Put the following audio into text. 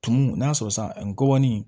Tumu n'a sɔrɔ san ngɔbɔninw